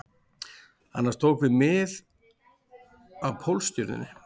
Annars tókum við mið af Pólstjörnunni